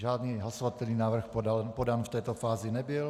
Žádný hlasovatelný návrh podán v této fázi nebyl.